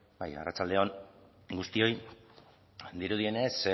arratsalde on guztioi dirudienez